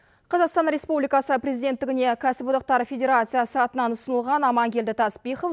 қазақстан республикасы президенттігіне кәсіподақтар федерациясы атынан ұсынылған амангелді таспихов